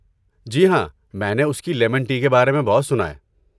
جی ہاں، میں نے اس کی لیمن ٹی کے بارے میں بہت سنا ہے۔